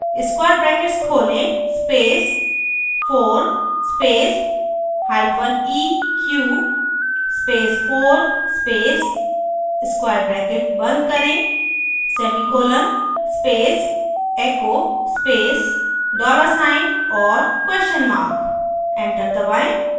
square bracket खोलें space 4 space hyphen eq space 4 space square bracket बंद करें semicolon space echo space dollar sign और question mark enter दबाएं